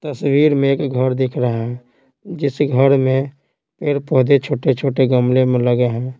तस्वीर में एक घर दिख रहा है जिस घर में पेड़-पौधे छोटे-छोटे गमले में लगे हैं।